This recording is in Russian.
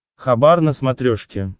хабар на смотрешке